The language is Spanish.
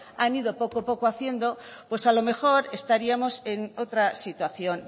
han ido poco a poco haciendo pues a lo mejor estaríamos en otra situación